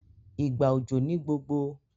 ìgbà òjò ní gbogbo